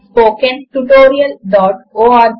httpspoken tutorialorg